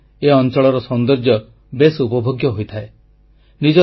ବର୍ଷାଋତୁରେ ଏ ଅଂଚଳର ସୌନ୍ଦର୍ଯ୍ୟ ବେଶ ଉପଭୋଗ୍ୟ ହୋଇଥାଏ